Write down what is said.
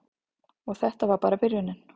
Og þetta var bara byrjunin.